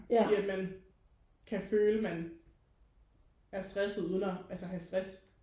I at man kan føle man er stresset uden altså at have stress